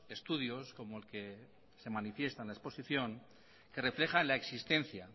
estudios como el que se manifiesta en la exposición que refleja la existencia